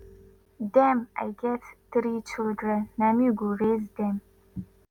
dem i get three children na me go raise dem